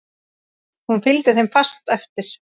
Hún fylgdi þeim fast eftir.